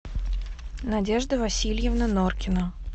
надежда васильевна норкина